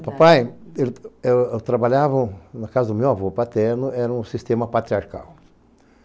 O papai, ele era, trabalhavam na casa do meu avô paterno, era um sistema patriarcal.